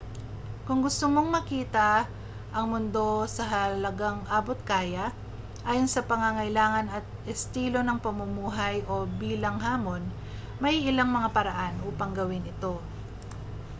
kung gusto mong makita ang mundo sa halagang abot-kaya ayon sa pangangailangan at estilo ng pamumuhay o bilang hamon may ilang mga paraan upang gawin ito